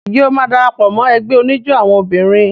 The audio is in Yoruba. Ǹjẹ́ o máa dara pọ̀ mọ́ ẹgbẹ́ oníjó àwọn obìnrin?